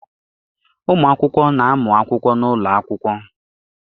Ụmụakwụkwọ na-amụ akwụkwọ n'ụlọ akwụkwọ.